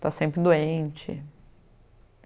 Está sempre doente.